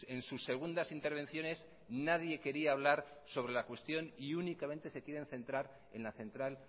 en sus segundas intervenciones nadie quería hablar sobre la cuestión y únicamente se quieren centrar en la central